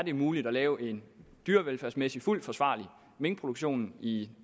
er muligt at lave en dyrevelfærdsmæssig fuldt forsvarlig minkproduktion i